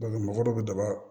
mɔgɔ dɔ bɛ daba